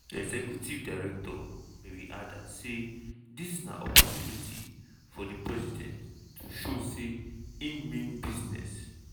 executive director mary adda say "dis na opportunity for di president to show say im mean business.